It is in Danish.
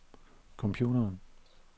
computeren